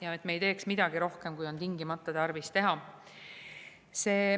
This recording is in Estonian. Me ei tohi teha midagi rohkem, kui on tingimata tarvis teha.